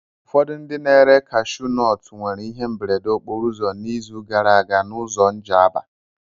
Ụfọdụ ndị na-ere kashuu nọọtụ nwere ihe mberede okporoụzọ n'izu gara aga n'ụzọ Njaba.